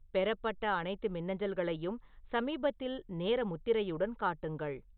பெறப்பட்ட அனைத்து மின்னஞ்சல்களையும் சமீபத்தில் நேர முத்திரையுடன் காட்டுங்கள்